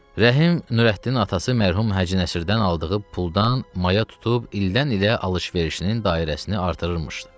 Rəhim Nurəddinin atası mərhum Hacı Nəsirdən aldığı puldan maya tutub ildən-ilə alış-verişinin dairəsini artırırmışdı.